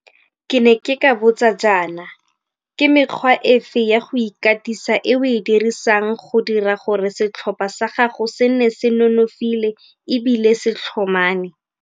Ke ne ke ka botsa jaana, ke mekgwa efe ya go ikatisa e o e dirisang go dira gore setlhopha sa gago se nne se nonofile ebile se tlhomame?